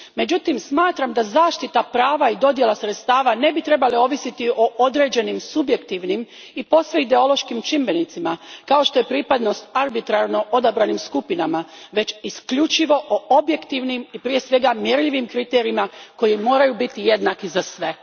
Međutim, smatram da zaštita prava i dodjela sredstava ne bi trebali ovisiti o određenim subjektivnim i posve ideološkim čimbenicima kao što je pripadnost arbitrarno odabranim skupinama već isključivo o objektivnim i prije svega mjerljivim kriterijima koji moraju biti jednaki za sve.